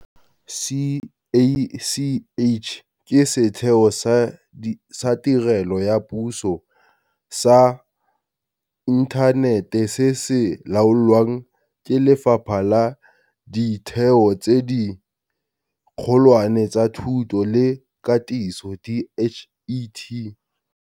CACH ke setheo sa tirelo ya puso sa inthanete se se laolwang ke Lefapha la Ditheo tse Dikgolwane tsa Thuto le Katiso, DHET.